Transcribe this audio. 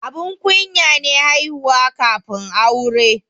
Abun kunya ne haihuwa kafin aure.